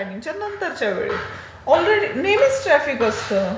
आणि नऊच्या टायमिंगच्या नंतरच्या वेळेत नेहमीच ट्राफिक असते.